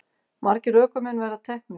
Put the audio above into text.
Margir ökumenn verið teknir